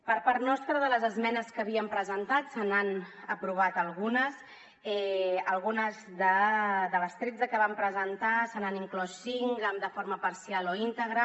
per part nostra de les esmenes que havíem presentat se n’han aprovat algunes algunes de les tretze que vam presentar se n’han inclòs cinc de forma parcial o íntegra